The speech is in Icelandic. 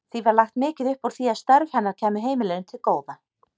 Því var lagt mikið upp úr því að störf hennar kæmu heimilinu til góða.